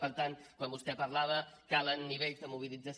per tant quan vostè parlava calen nivells de mobilització